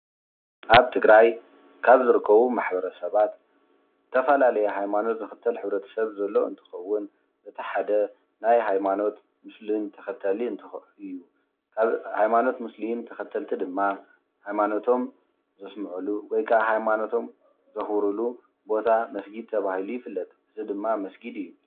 ኣብ ትግራይ ካብ ዝርከቡ ማሕበረሰባት ዝተፈላለዩ ሃይማኖት ዝኽተል ሕብረተሰብ ዘሎ እንትኸውን እቲ ሓደ ናይ ሃይማኖት ሙስሊም ተኸታሊ እንትኸውን ሃይማኖት ሙስሊም ተኸተልቲ ድማ ሃይማነቶም ዘስምዑሉ ወይ ከዓ ሃይማነቶም ዘኽብሩሉ ቦታ መስጊድ ተባሂሉ ይፍለጥ፡፡ እዚ ድማ መስጊድ እዩ፡፡